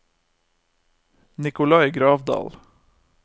Nicolai Gravdal